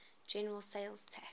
general sales tax